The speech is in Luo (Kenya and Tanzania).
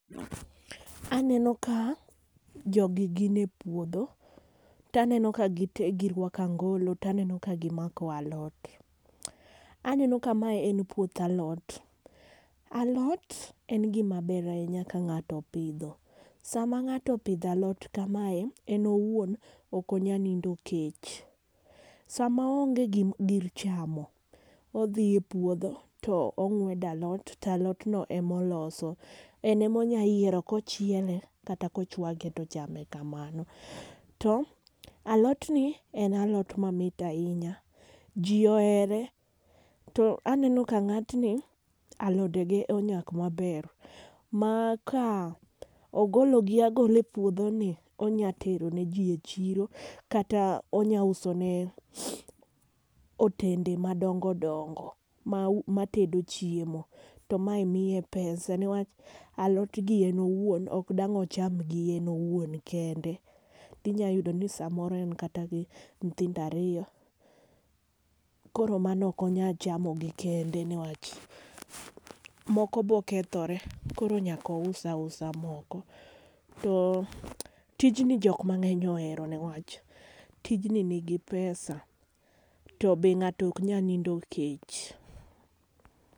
Aneno ka jogi gin e puodho taneno ka gi tee girwako angolo taneno ka gimako alot. Aneno ka mae en puoth alot , alot en gima ber ahinya ka ng'ato opidho . Sama ng'ato opidho alot kamae en owuon ok onyal nindo kech. Sama oonge gim gir chamo odhi e puodho tong'wedo alot to alot no emoloso en emonya yiero kochiele kata kochwake tochame kamano. To alot ni en alot mamit ahinya . Jii ohere to aneno ka ng'atni alode ge onyak maber ma ka ogolo gi agola e puodho ni onya tero ne jii e chiro kata onya uso ne otende madongodongo ma matedo chiemo. To mae miye pesa newach alot gi en owuon ok dang' ocham gi en owuon kende. Inya yudo ni samoro en kata gi gi nyithindo ariyo koro mano ok onya chamo gi kende newach moko bo kethore. Koro nyaka ousoo oasu moko . To tijni jok mang'eny ohero newach tijni nigi pesa to be ng'ato ok nya nindo kech.